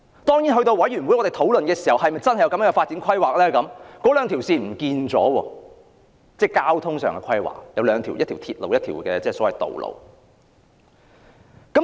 當然，到了正式討論的時候，發展規劃已不見那兩條路線：一條是鐵路，一條是道路。